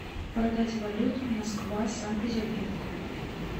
продать валюту москва санкт петербург